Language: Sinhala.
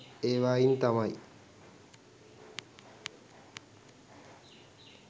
ඒවායින් තමයි